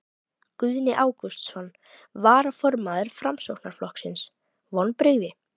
Guðni Ágústsson, varaformaður Framsóknarflokksins: Vonbrigði?